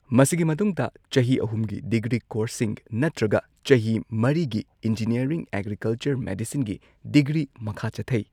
ꯃꯁꯤꯒꯤ ꯃꯇꯨꯡꯗ ꯆꯍꯤ ꯑꯍꯨꯝꯒꯤ ꯗꯤꯒ꯭ꯔꯤ ꯀꯣꯔꯁꯁꯤꯡ ꯅꯠꯇ꯭ꯔꯒ ꯆꯍꯤ ꯃꯔꯤꯒꯤ ꯏꯟꯖꯤꯅꯤꯌꯔꯤꯡ ꯑꯦꯒ꯭ꯔꯤꯀꯜꯆꯔ ꯃꯦꯗꯤꯁꯤꯟꯒꯤ ꯗꯤꯒ꯭ꯔꯤ ꯃꯈꯥ ꯆꯠꯊꯩ꯫